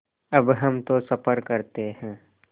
अब हम तो सफ़र करते हैं